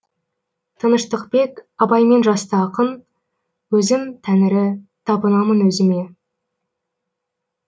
тыныштықбек абаймен жасты ақын өзім тәңірі табынамын өзіме